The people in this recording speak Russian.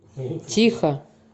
тихо